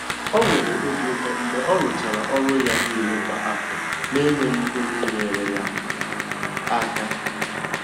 O nwere obi ụtọ mgbe ọ rụchara ọrụ ya niile kwa afọ na enweghị onye nyere ya aka.